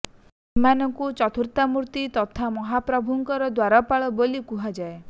ଏମାନଙ୍କୁ ଚତୁର୍ଦ୍ଧା ମୂର୍ତ୍ତି ତଥା ମହାପ୍ରଭୂଙ୍କ ଦ୍ୱାରପାଳ ବୋଲି କୁହାଯାଏ